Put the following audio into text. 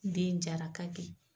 Den jara kaki